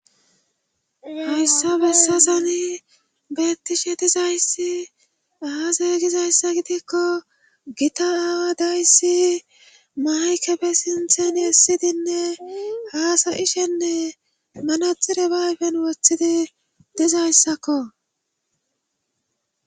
hayssa bessasani beettishe dizayssi aaze gizayssa gidekko gita aawa dayssi maykefe sintheni essidinne haasa ishenne manaxire bayfen woththidi dizayssakko